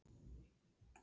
Ekki ber á öðru.